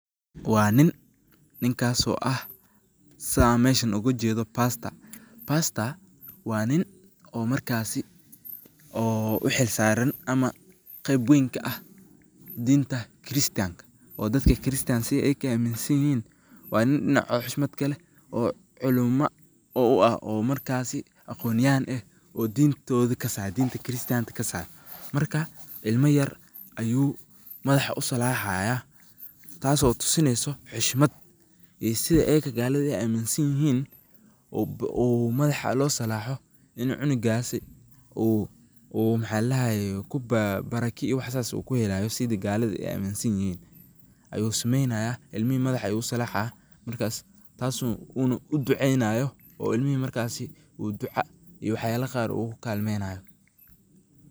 Waa niin niinkas oo aah sii aan meshaan ogaa jeedo pastor pastor waa niin oo markaasi oo uu xilsaraan ama qeyb weyn kaa aah diinta christian kaa oo dadkaa christian kaa sii ayakaa amiinsaan yihiin waa niin dhinaacoda xushmaad kaa leeh oo culumaa oo uu aah oo markaasi aqonyahaan eeh oo diin toodi kasaayo diinta christian taa kasaayo. markaa ilmaa yaar ayuu madaxaa usalaxaaya taaso tusineeyso xushmaad iyo siida ayaaka galadaa ey amiinsan yihiin uu uu madaxaa loo salaaxo ini cunugaasi uu uu maxa ladahaaye kuu baraaka iyo wax sas kuu helayo sidaa galada eey amiinsan yihiin ayu sameynaaya ilmiihi madaxa ayu uu salaxaaya markaas taaso uuna uu duceynaayo uu ilmiihi markaasi uu ducaa iyo waxyaala qaar ukuu kalmeynaayo.